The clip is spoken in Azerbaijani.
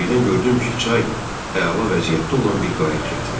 Birdən gördüm ki, çay əla vəziyyətdə olan bir qayıq gətirir.